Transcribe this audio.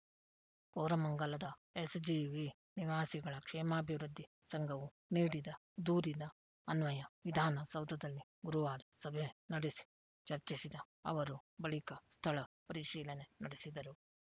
ಕೋರಮಂಗಲದ SGV ನಿವಾಸಿಗಳ ಕ್ಷೇಮಾಭಿವೃದ್ಧಿ ಸಂಘವು ನೀಡಿದ ದೂರಿನ ಅನ್ವಯ ವಿಧಾನ ಸೌಧದಲ್ಲಿ ಗುರುವಾರ ಸಭೆ ನಡೆಸಿ ಚರ್ಚಿಸಿದ ಅವರು ಬಳಿಕ ಸ್ಥಳ ಪರಿಶೀಲನೆ ನಡೆಸಿದರು